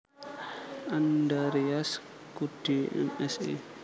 Andarias Kuddy M Si